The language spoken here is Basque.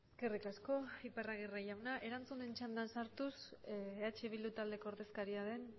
eskerrik asko iparragirre jauna erantzunen txandan sartuz eh bildu taldeko ordezkaria den